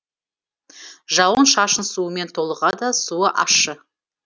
жауын шашын суымен толығады суы ащы